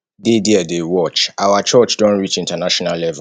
dey there dey watch our church don reach international level